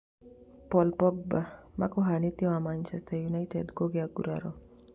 Paul Pogba: mũkuhania wa Manchester United kũgĩa nguraro